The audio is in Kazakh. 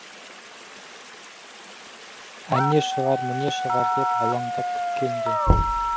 әне шығар міне шығар деп алаңдап күткен де